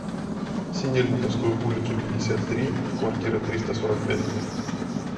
синельниковскую улицу пятьдесят три в квартира триста сорок пять